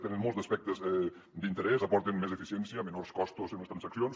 tenen molts aspectes d’interès aporten més eficiència menors costos en les transaccions